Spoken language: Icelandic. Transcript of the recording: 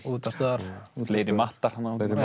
og útvarpsstöðvar fleiri matta